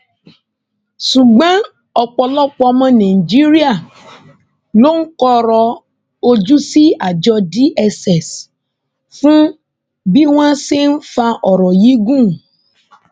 ṣùgbọn ọpọlọpọ ọmọ nàìjíríà ló ń kọrọ ojú sí àjọ dss fún bí wọn ṣe ń ń fa ọrọ yìí gùn